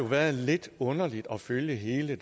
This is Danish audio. været lidt underligt at følge hele